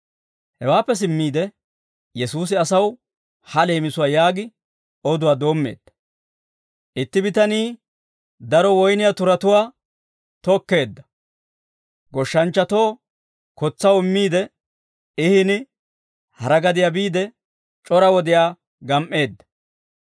Hawaappe simmiide Yesuusi asaw ha leemisuwaa yaagi oduwaa doommeedda: «Itti bitanii daro woyniyaa turatuwaa tokkeedda. Goshshanchchatoo kotsaw immiide, I hini hara gadiyaa biide c'ora wodiyaa gam"eedda.